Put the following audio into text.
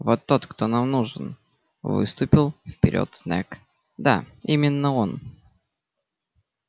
вот тот кто нам нужен выступил вперёд снегг да именно он